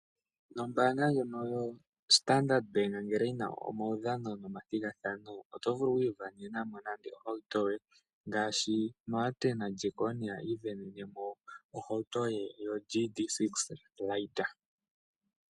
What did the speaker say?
Ombanga ndyono yoStandard bank ngele yina omaudhano nomathigathano oto vulu oku isindanenamo nande ohawuto yoye ngaashi Martin lyaJackonia isindanene ko ohawuto ye yo GC 6 .